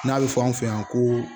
N'a bɛ fɔ an fɛ yan ko